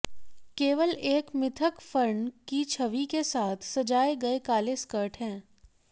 केवल एक मिथक फर्न की छवि के साथ सजाए गए काले स्कर्ट हैं